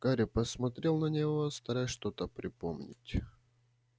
гарри посмотрел на него стараясь что-то припомнить